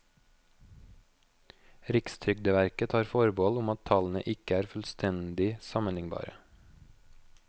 Rikstrygdeverket tar forbehold om at tallene ikke er fullstendig sammenlignbare.